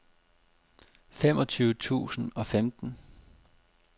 femogtyve tusind og femten